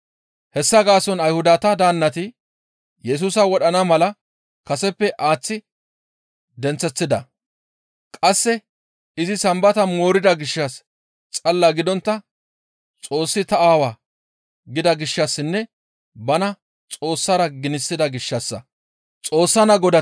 Hessa gaason Ayhudata daannati Yesusa wodhana mala kaseppe aaththi denththeththida. Qasse izi Sambata moorida gishshas xalla gidontta, «Xoossi ta Aawa» gida gishshassinne bana Xoossara ginisida gishshassa.